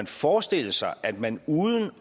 forestille sig at man uden